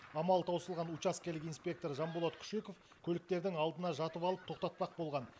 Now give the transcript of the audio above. амалы таусылған учаскелік инспектор жанболат күшеков көліктердің алдына жатып алып тоқтатпақ болған